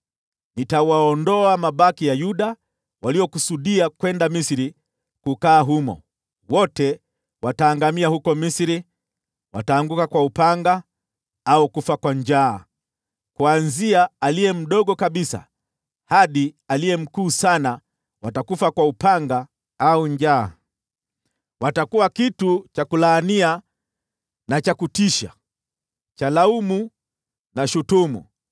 Nitawaondoa mabaki ya Yuda waliokusudia kwenda Misri kukaa humo. Wote wataangamia huko Misri, wataanguka kwa upanga au kufa kwa njaa. Kuanzia aliye mdogo kabisa hadi aliye mkuu sana, watakufa kwa upanga au njaa. Watakuwa kitu cha kulaania na cha kutisha, cha laumu na shutumu.